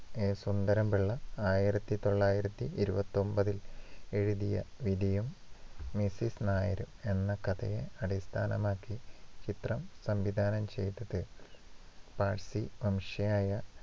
A. Sundaram Pillai ആയിരത്തി തൊള്ളായിരത്തി ഇരുപത്തിയൊമ്പത്തില്‍ എഴുതിയ വിധിയും, മിസ്സിസ് നായരും എന്ന കഥയെ അടിസ്ഥാനമാക്കി ചിത്രം സംവിധാനം ചെയ്തത് പാഴ്സി വംശയായ